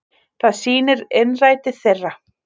Það sýnir innræti þeirra